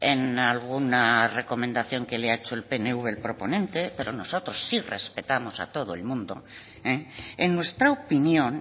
en alguna recomendación que le ha hecho el pnv el proponente pero nosotros sí respetamos a todo el mundo en nuestra opinión